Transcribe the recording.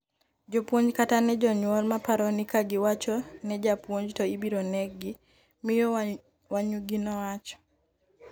jopuonj kata ne jonyuol ma paro ni ka giwachi ne jopuonj to ibiro neggi, miyo Wanyugi nowacho.